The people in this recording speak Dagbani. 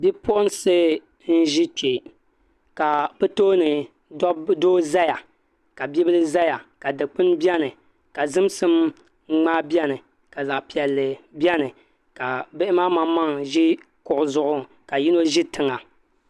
Bipuɣunsi n ʒi kpɛ ka bi tooni doo ʒɛya ka bibil ʒɛya ka dikpuni biɛni ka zimsim ŋmaa biɛni ka zaɣ piɛlli biɛni ka bihi maa maŋmaŋ ʒi kuɣu zuɣu ka yino ʒi tiŋa